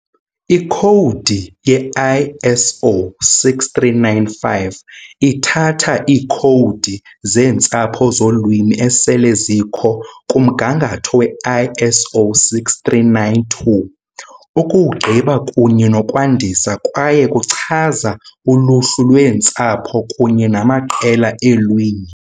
Ikhowudi ye-ISO 639-5 ithatha iikhowudi zeentsapho zolwimi esele zikho kumgangatho we -ISO 639-2, ukuwugqiba kunye nokwandisa, kwaye kuchaza uluhlu lweentsapho kunye namaqela eelwimi.